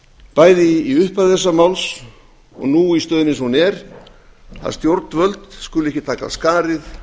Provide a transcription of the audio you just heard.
bæði í upphafi þessa máls og nú í stöðunni eins og hún er að stjórnvöld skuli ekki taka af skarið